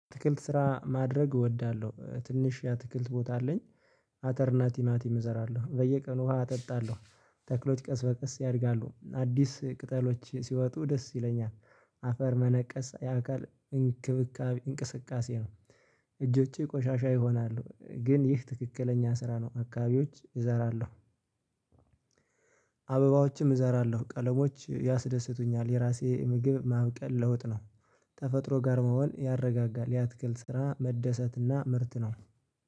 አትክልት ስራ ማድረግ እወዳለሁ ትንሽ የአትክልት ቦታ አለኝ አተርና ቲማቲም እዘራለሁ በየቀኑ ውሃ አጠጣለሁ። ተክሎች ቀስ በቀስ ያድጋሉ አዲስ ቅጠሎች ሲወጡ ደስ ይለኛል። አፈር መነቀስ የአካል እንክብካቤ እንቅስቃሴ ነው። እጆቼ ቆሻሻ ይሆናሉ ግን ይህ ትክክለኛ ስራ ነው አካባቢዎች እዘራለሁ። አበባዎችም እዘራለሁ ቀለሞች ያስደስቱኛል የራሴ ምግብ ማብቀል ለውጥ ነው። ተፈጥሮ ጋር መሆን ያረጋጋል ያትክል ስራ መደሰትና ምርት ነው